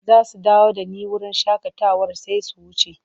Za su dawo da ni wurin shakatawar sai su wuce.